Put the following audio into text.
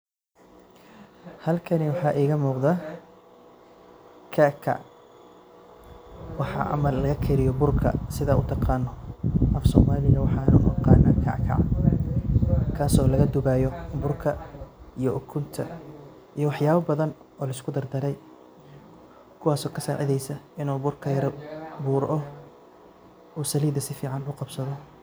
Halkani waxaa igamuqda kackac waxa ama lagakariyo burka sidha utaqano afsomaliga waxan uaqana kakac kaso lagadubayo burka iyo ukunta iyo waxyabo badan oo laiskudardare kuwaso kasacideyso inu burka yara furo oo salida sifican uqabsado.